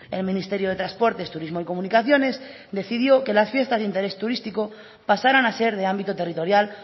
el ministerio de transporte turismo y comunicaciones decidió que las fiestas de interés turístico pasaran a ser de ámbito territorial